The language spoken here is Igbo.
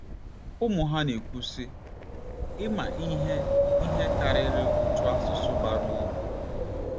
Ụmụ ha na-ekwu, sị: “ Ị́mâ ihe ihe karịrị otu asụsụ bara uru.